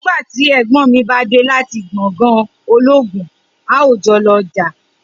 nigbati ègbón mí bádé láti gbòngàn ológun, a o jolo ọjà